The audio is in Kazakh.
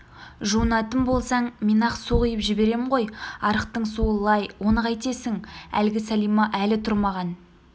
жуынатын болсаң мен-ақ су құйып жіберем ғой арықтың суы лай оны қайтесің әлгі сәлима әлі тұрмаған